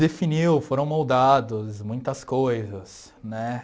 Definiu, foram moldados muitas coisas, né?